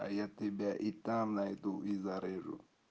а я тебя и там найду и зарежу